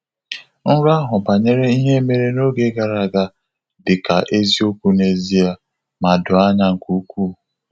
Nrọ ahụ banyere ihe mere n'oge gara aga dị ka eziokwu n’ezie, ma doo anya nke ukwuu.